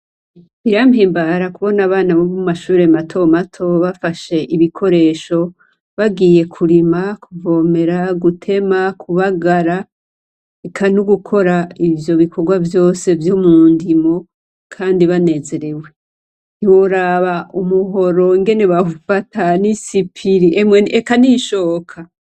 Birampimbara kubona abana bo mumashure mato mato bafashe ibikoresho , bagiye Kurima, kuvomera , gutema, kubagara eka n’ugukora ivyo bikorwa vyose vyo mundimo Kandi banezerewe. Ntiworaba umuhoro ingene bawufata n’isipiri emwe eka n’ishoka.